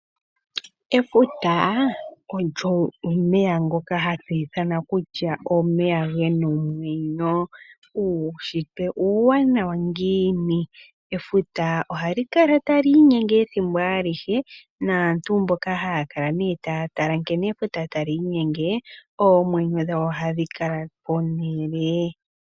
Efuta olyo omeya ngoka hatu ithana kutya omeya gena omwenyo. Uunshitwe uuwanawa ngiini! Efuta ohali kala tali inyenge ethimbo alihe, naantu mbono haya kala taya tala nkene efuta tali inyenge oomwenyo dhawo ohadhi kala pehala.